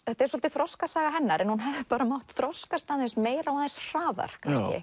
þetta er svolítið þroskasaga hennar en hún hefði mátt þroskast aðeins meira og aðeins hraðar kannski